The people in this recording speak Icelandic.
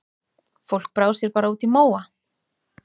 Fólk brá sér bara út í móa.